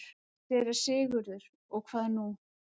SÉRA SIGURÐUR: Og hvað nú?